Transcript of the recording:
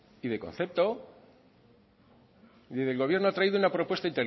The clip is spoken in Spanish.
y de concepto mire el gobierno ha traído una propuesta